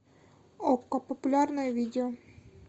окко популярное видео